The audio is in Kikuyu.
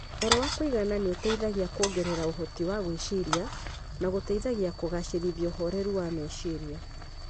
Toro wa kũigana nĩ ũteithagia kuongerera ũhoti wa gwĩciria na gũteithagia kũgacĩrithia ũhoreru wa meciria.